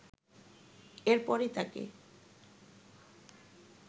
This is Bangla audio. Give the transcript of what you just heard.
এরপরই তাকে